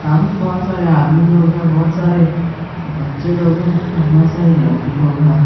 सामने बहुत सारे आदमी लोग हैं बहुत सारे बच्चे लोग हैं और बहुत सारी लड़की लोग हैं।